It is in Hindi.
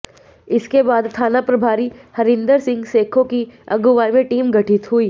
इसके बाद थाना प्रभारी हरिंदर सिंह सेखों की अगुवाई में टीम गठित हुई